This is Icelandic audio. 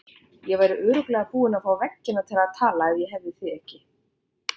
Ég væri örugglega búin að fá veggina til að tala ef ég hefði þig ekki.